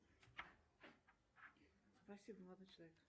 спасибо молодой человек